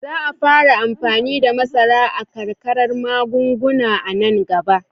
Za a fara amfani da masara a arkar magunguna a nan gaba.